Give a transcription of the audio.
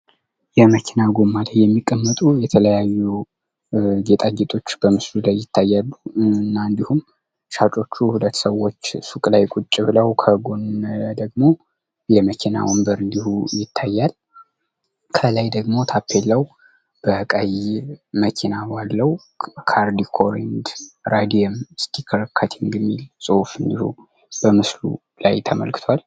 የመኪና ጎማ የሚቀመጡ የተለያዩ ጌጣጌጦች በምስሉ ላይ ይታያሉ እና እንድሁም ሻጮቹ ሁለት ሰዎች ሱቅ ላይ ቁጭ ብለው ከጎን ደግሞ የመኪና ወንበር እንድሁ ይታያል። ከላይ ደግሞ ታፔላው በቀይ መኪና ባለው ካር ዲኮር ራዲየም ስቲከር ከቲንግ የሚል ጽሑፍ እንድሁ በምስሉ ላይ ተመልክቷል።